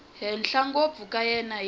henhla ngopfu ku ya hi